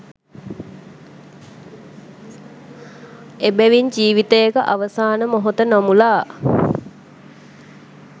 එබැවින් ජීවිතයක අවසාන මොහොත නොමුළා